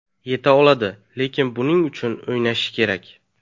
Yeta oladi, lekin buning uchun o‘ynashi kerak.